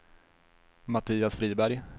Mattias Friberg